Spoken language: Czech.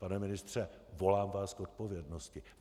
Pane ministře, volám vás k odpovědnosti!